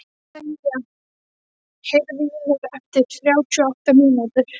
Selja, heyrðu í mér eftir þrjátíu og átta mínútur.